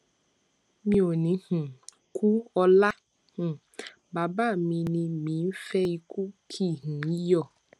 mi ò ní um kú ọlá um bàbá mi ni mi ń fẹ ìkù kì um í yọ